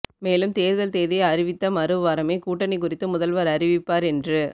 மேலும் தேர்தல் தேதி அறிவித்த மறுவாரமே கூட்டணி குறித்து முதல்வர் அறிவிப்பார் என்று